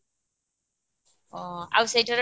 ହଁ ଆଉ ସେଠାରେ